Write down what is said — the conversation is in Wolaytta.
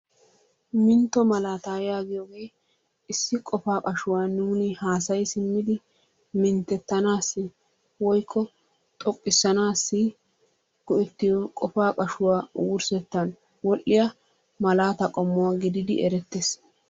Mintto malaataa yaagiyogee issi qofaa qashuwa nuuni haasayi simmidi minttettanaassi woyikko xoqqisaanaassi go'ettiyo qofaa qashuwa wurssettan wol"iya malaatay qommuwa gididi erettes.